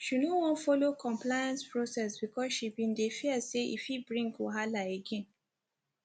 she no wan follow complaint process bcoz she bin dey fear say e fit bring wahala again